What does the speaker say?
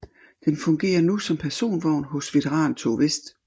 Den fungerer nu som personvogn hos Veterantog Vest